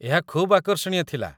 ଏହା ଖୁବ୍ ଆକର୍ଷଣୀୟ ଥିଲା